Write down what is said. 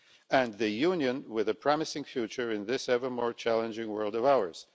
and the Union with a promising future in this ever more challenging world of ours.